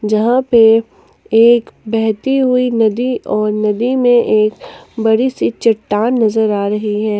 जहां पे एक बहती हुई नदी और नदी में एक बड़ी सी चट्टान नजर आ रही है।